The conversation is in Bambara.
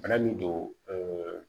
Bana min don ɛɛ